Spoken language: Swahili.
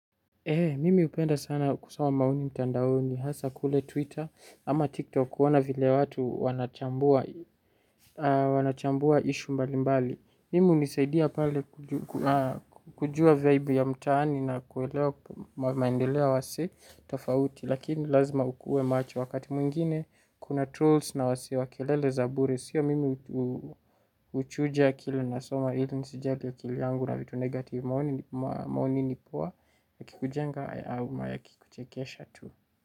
Mimi hupenda sana kusoma maoni mtandaoni hasa kule Twitter ama TikTok huona vile watu wanachambua issue mbalimbali. Mimi hunisaidia pale kujua vibe ya mtaani na kuelewa maendeleo wasi tofauti lakini lazima ukuwe macho wakati mwingine kuna trolls na wasi wa kilele za bure. Mimi hunisaidia pale kujua vibe ya mtaani na kuelewa maendeleo wasi tofauti lakini lazima ukuwe macho wakati mwingine kuna trolls na wasi wa kilele za bure.